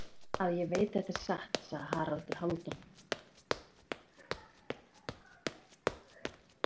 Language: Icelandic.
Það vill svo til að ég veit þetta er satt, sagði Haraldur Hálfdán.